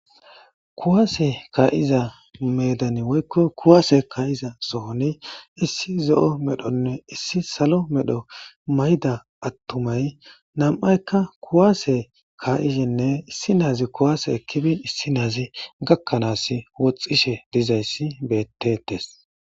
Kuwaase ka'iza medani woykko kuwaase ka'iza sooni issi zo'o medhonne issi salo medho mayda attumay nam'aykka kuwaase kaa'ishenne issi naazi kuwaase ekkibin issi naazi gakkanaas woxxishe dizayssi bettettes